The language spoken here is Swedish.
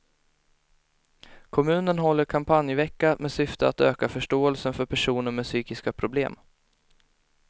Kommunen håller kampanjvecka med syfte att öka förståelsen för personer med psykiska problem.